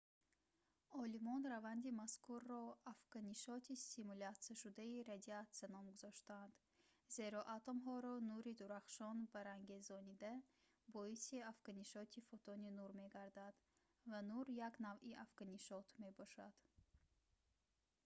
олимон раванди мазкурро «афканишоти стимулятсияшудаи радиатсия» ном гузоштаанд зеро атомҳоро нури дурахшон барангезонида боиси афканишоти фотони нур мегардад ва нур як навъи афканишот мебошад